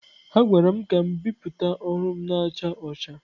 A gwara m ka m bipụta ọrụ m na-acha ọcha.